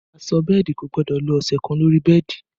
Aṣọ bẹ́ẹ̀dì kò gbọ́dọ̀ lo ọ̀sẹ̀ kan lórí bẹ́ẹ̀dì